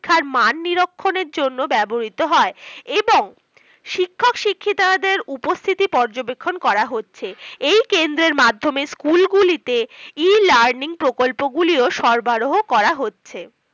সম্প্রতি চালু করা হয়েছিল, এটি একটি interactive platform এবং রাজ্য শিক্ষার দ্বারা স্বীকৃত।